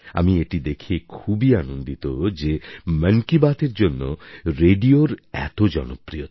আমি এটি দেখে খুবই আনন্দিত যে মন কি বাতএর জন্য রেডিওর এত জনপ্রিয়তা